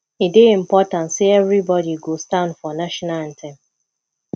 e dey important say everybody go stand for the national anthem